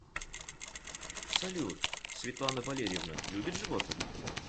салют светлана валерьевна любит животных